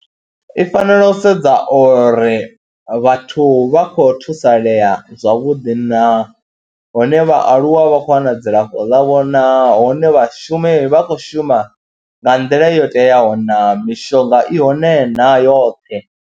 I fanela u sedza uri vhathu vha khou thusalea zwavhuḓi naa, hone vhaaluwa vha kho wana dzilafho ḽavho naa, hone vhashumi vha khou shuma nga nḓila yo teaho naa, mishonga i hone na yoṱhe.